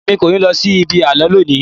Èmi kò ní lọ sí ibi àlọ́ lónìí.